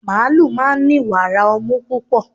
màálù máa ń ni wàrà ọmú púpọ̀